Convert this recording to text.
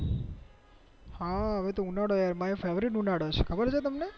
હા હવે તો ઉનાળો આવી ગયો મારો FAVOURITE છે કબર છે તમને